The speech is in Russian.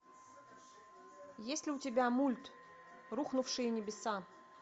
есть ли у тебя мульт рухнувшие небеса